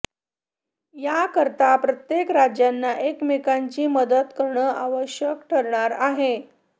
याकरता प्रत्येक राज्यांना एकमेकांची मदत करण आवश्यक ठरणार आहे